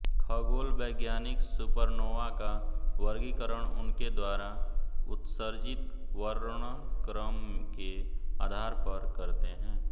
खगोलवैज्ञानिक supernova का वर्गीकरण उनके द्वारा उत्सर्जित वर्णक्रम के आधार पर करते है